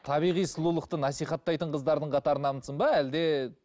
табиғи сұлулықты насихаттайтын қыздардың қатарынансың ба әлде